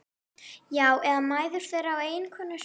Já, eða mæður þeirra og eiginkonur.